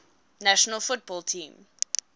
national football team